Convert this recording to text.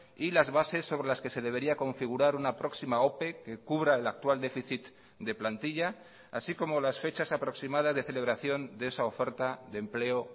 y las bases sobre las que se debería configurar una próxima ope que cubra el actual déficit de plantilla así como las fechas aproximadas de celebración de esa oferta de empleo